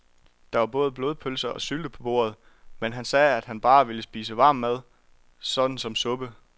Der var både blodpølse og sylte på bordet, men han sagde, at han bare ville spise varm mad såsom suppe.